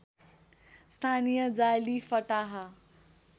स्थानीय जाली फटाहा